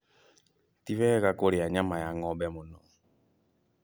Ti wega kũrĩa nyama ya ngo'mbe mũno